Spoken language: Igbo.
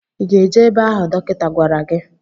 Ị ga-eje ebe ahụ dọkịta gwara gi?